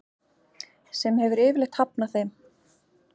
sem hefur yfirleitt hafnað þeim.